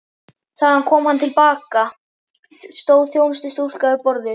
Þegar hann kom til baka, stóð þjónustustúlka við borðið.